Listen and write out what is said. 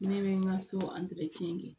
Ne bɛ n ka so kɛ